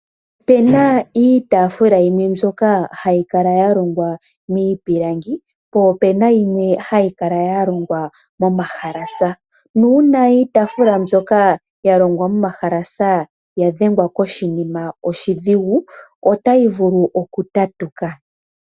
Opu na iitaafula yimwe mbyoka hayi kala ya longwa miipilangi po opu na yimwe hayi kala ya longwa momahalasa. Nuuna iitaafula mbyoka ya longwa momahalasa ya dhengwa koshinima oshidhigu otayi vulu oku tatuka.